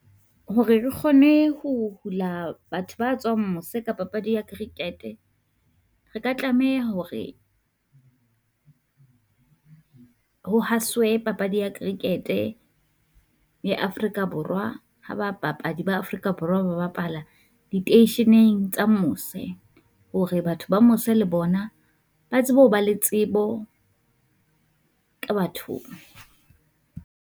Hore re kgone ho hula batho ba tswang mose ka papadi ya cricket, re ka tlameha hore ho haswe papadi ya cricket-e ya Afrika Borwa, ha ba bapadi ba Afrika Borwa ba bapala di teisheneng tsa mose, hore batho ba mose le bona ba tsebe ho ba le tsebo ka batho ba.